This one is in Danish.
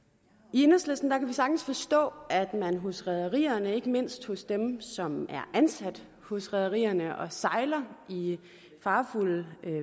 i enhedslisten kan vi sagtens forstå at man hos rederierne ikke mindst hos dem som er ansat hos rederierne og sejler i farefulde